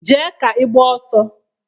Jee ka i gbaa ọsọ!